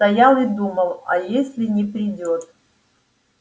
стоял и думал а если не придёт